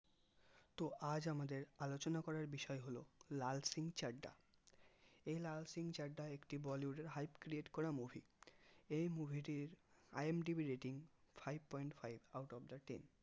তো আমাদের আলোচলনার করার বিষয় হলো লাল সিং চাড্ডা এই লাল সিং চাড্ডা একটি bollywood এর hype create করা movie এই movie টির IMDB rating five point five out of the ten